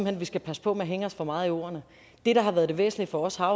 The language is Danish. hen vi skal passe på med at hænge os for meget i ordene det der har været det væsentlige for os har